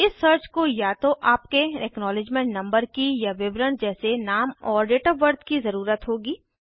इस सर्च को या तो आपके एक्नॉलिज्मेंट नंबर की या विवरण जैसे नाम और डेट ऑफ़ बर्थ की ज़रुरत होगी